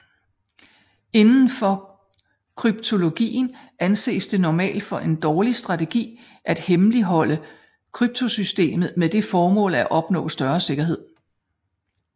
Inden for kryptologien anses det normalt for en dårlig strategi at hemmeligholde kryptosystemet med det formål at opnå større sikkerhed